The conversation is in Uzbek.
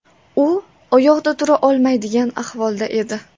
U oyoqda tura olmaydigan ahvolda edi.